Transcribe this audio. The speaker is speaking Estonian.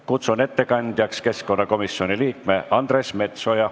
Kutsun ettekandjaks keskkonnakomisjoni liikme Andres Metsoja.